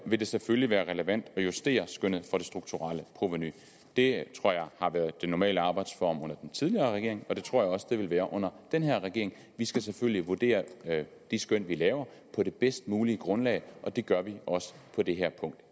vil det selvfølgelig være relevant at justere skønnet for det strukturelle provenu det tror jeg har været den normale arbejdsform under den tidligere regering og det tror jeg også det vil være under den her regering vi skal selvfølgelig vurdere de skøn vi laver på det bedst mulige grundlag og det gør vi også på det her punkt